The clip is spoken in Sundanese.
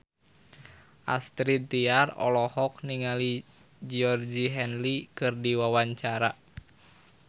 Astrid Tiar olohok ningali Georgie Henley keur diwawancara